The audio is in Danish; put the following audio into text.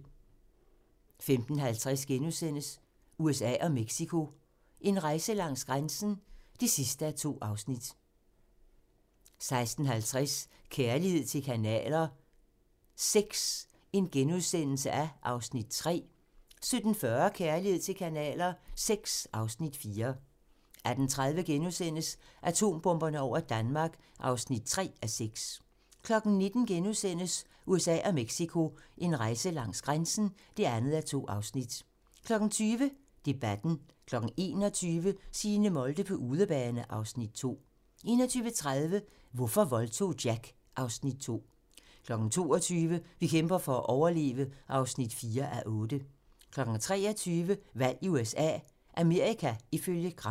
15:50: USA og Mexico: En rejse langs grænsen (2:2)* 16:50: Kærlighed til kanaler VI (Afs. 3)* 17:40: Kærlighed til kanaler VI (Afs. 4) 18:30: Atombomberne over Danmark (3:6)* 19:00: USA og Mexico: En rejse langs grænsen (2:2)* 20:00: Debatten 21:00: Signe Molde på udebane (Afs. 2) 21:30: Hvorfor voldtog Jack? (Afs. 2) 22:00: Vi kæmper for at overleve (4:8) 23:00: Valg i USA - Amerika ifølge Gram